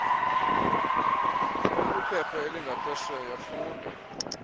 ekwiphepha elingaphesheya funda